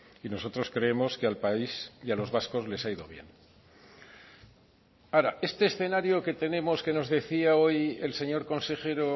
y nosotros creemos que al país y a los vascos les ha ido bien ahora este escenario que tenemos que nos decía hoy el señor consejero